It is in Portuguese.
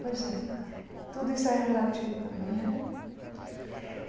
Pois é. Tudo isso é relativo também. Não é